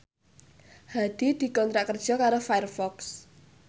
Hadi dikontrak kerja karo Firefox